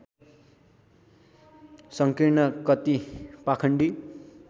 सङ्कीर्ण कति पाखण्डी